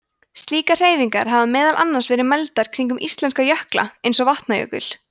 slíkar hreyfingar hafa meðal annars verið mældar kringum íslenska jökla eins og vatnajökul